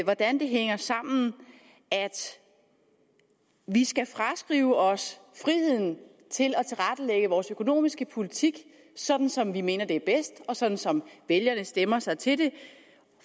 hvordan det hænger sammen at vi skal fraskrive os friheden til at tilrettelægge vores økonomiske politik sådan som vi mener det er bedst og sådan som vælgerne stemmer sig til det